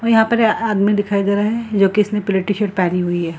और यहाँ पे आदमी दिखाई दे रहे है जो कि इसने पीले टी-शर्ट पहनी हुई है।